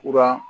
Kuran